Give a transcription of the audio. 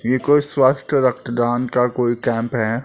ये कोई स्वस्थ रक्तदान का कोई कैम्प है।